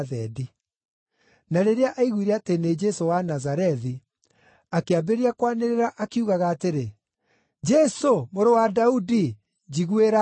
Na rĩrĩa aiguire atĩ nĩ Jesũ wa Nazarethi, akĩambĩrĩria kwanĩrĩra akiugaga atĩrĩ, “Jesũ, Mũrũ wa Daudi, njiguĩra tha!”